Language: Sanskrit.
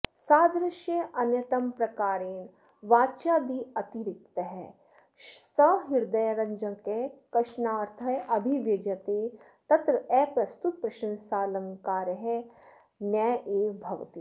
सादृश्यान्यतमप्रकारेण वाच्यादतिरिक्तः सहृदयरञ्जकः कश्चनार्थः अभिव्यज्यते तत्र अप्रस्तुतप्रशंसालङ्कारः नैव भवति